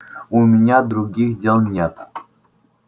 у меня других дел нет